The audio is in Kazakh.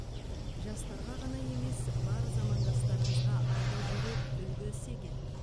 жастарға ғана емес бар замандастарыңызға айта жүрер үлгі іс екен